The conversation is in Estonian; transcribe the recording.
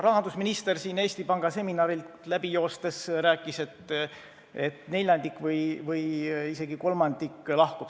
Rahandusminister aga rääkis Eesti Panga seminarilt läbi joostes, et neljandik või isegi kolmandik lahkub.